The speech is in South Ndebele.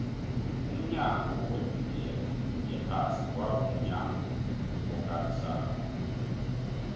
umnyanya webhigiri yephasi kwaba mnyanya okarisako